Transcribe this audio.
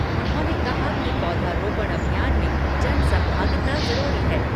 उन्होंने कहा कि पौधरोपण अभियान में जन सहभागिता जरूरी है।